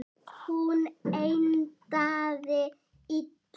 Hún endaði illa.